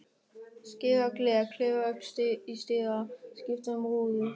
Skera gler, klifra upp í stiga, skipta um rúður.